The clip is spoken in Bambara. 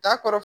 T'a kɔrɔ